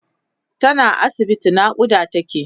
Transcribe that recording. tana asibiti naƙuda take